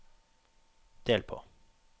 del på